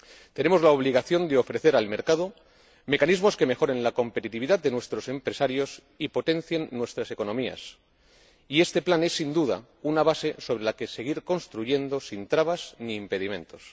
Tenemos la obligación de ofrecer al mercado mecanismos que mejoren la competitividad de nuestros empresarios y potencien nuestras economías. Y este plan es, sin duda, una base sobre la que seguir construyendo sin trabas ni impedimentos.